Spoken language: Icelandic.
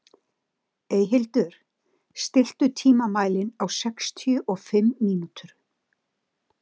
Eyhildur, stilltu tímamælinn á sextíu og fimm mínútur.